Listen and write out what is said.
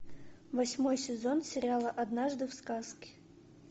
восьмой сезон сериала однажды в сказке